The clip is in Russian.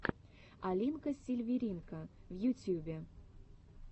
алинка сильверинка в ютьюбе